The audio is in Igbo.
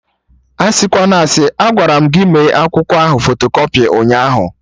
Asịkwana asị! Agwaram gị mee akwụkwọ ahụ fotokọpị ụnyaahụ